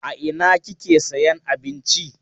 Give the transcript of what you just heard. A ina kike sayan abinci?